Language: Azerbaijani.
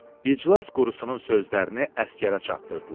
İclas qurusunun sözlərini əsgərə çatdırdılar.